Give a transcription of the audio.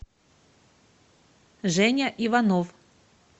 женя иванов